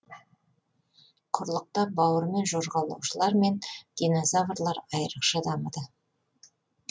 құрлықта бауырымен жорғалаушылар мен динозаврлар айрықша дамыды